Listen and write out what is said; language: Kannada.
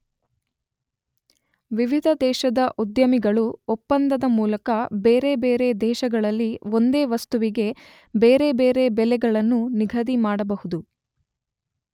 ವಿವಿಧ ದೇಶದ ಉದ್ಯಮಿಗಳು ಒಪ್ಪಂದದ ಮೂಲಕ ಬೇರೆ ಬೇರೆ ದೇಶಗಳಲ್ಲಿ ಒಂದೇ ವಸ್ತುವಿಗೆ ಬೇರೆ ಬೇರೆ ಬೆಲೆಗಳನ್ನು ನಿಗದಿ ಮಾಡಬಹುದು.